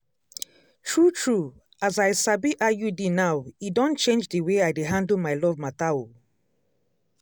true true as i sabi iud now e don change d way i dey handle my love matter oh.